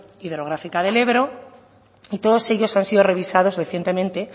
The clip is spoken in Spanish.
hidrográfica del ebro y todos ellos han sido revisados recientemente